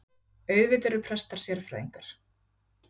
Auðvitað eru prestar sérfræðingar